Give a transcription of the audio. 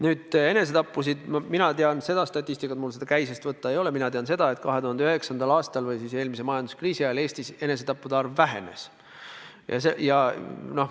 Nüüd, enesetappude kohta mina tean seda statistikat – kuigi mul seda käisest võtta praegu ei ole –, et 2009. aastal ehk eelmise majanduskriisi ajal Eestis enesetappude arv vähenes.